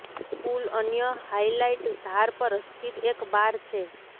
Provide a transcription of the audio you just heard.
પૂલ અન્ય હાઇલાઇટ ધાર પર સ્થિત એક બાર છે